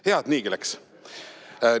"Hea, et niigi läits!